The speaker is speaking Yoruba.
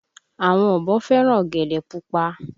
Àwọn ọ̀bọ fẹ́ràn ọ̀gẹ̀dẹ̀ pupa